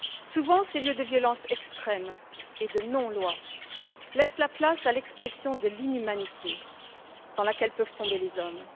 Souvent, ces lieux de violence extrême et de non loi laissent la place à l'expression de l'inhumanité dans laquelle peuvent tomber les hommes.